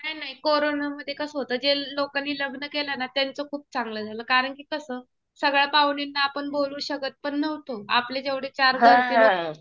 नाही नाही. कोरोना मध्ये कसं होतं. ज्या लोकांनी लग्न केलं ना त्यांच खूप चांगलं झालं. कारण कि कसं, सगळ्या पाहुण्यांना आपण बोलवू शकत पण नव्हतो. आपले जेवढे चार घरचे लोकं